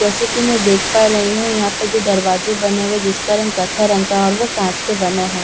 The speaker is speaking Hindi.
जैसे कि मैं देख पा रही हूं यहां पे जो दरवाजे बने हुए जिसका रंग कथा रंग का और वह कांच के बने हैं।